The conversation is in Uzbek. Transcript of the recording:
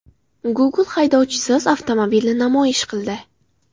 Google haydovchisiz avtomobilni namoyish qildi .